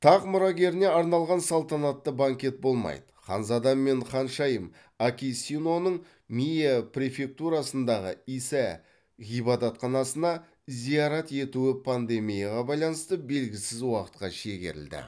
тақ мұрагеріне арналған салтанатты банкет болмайды ханзада мен ханшайым акисиноның миэ префектурасындағы исэ ғибадатханасына зиярат етуі эпидемияға байланысты белгісіз уақытқа шегерілді